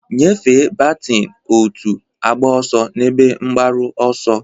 Nyefee batin, otu, agba ọsọ n'ebe mgbaru ọsọ.